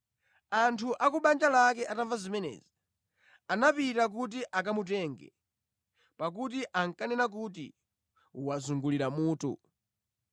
Anthu a ku banja lake atamva zimenezi, anapita kuti akamutenga, pakuti ankanena kuti, “Wazungulira mutu.”